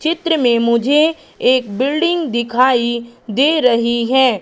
चित्र में मुझे एक बिल्डिंग दिखाई दे रही है।